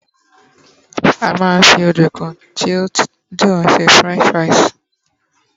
a ma n fi ọdunkun ti o dun se french fries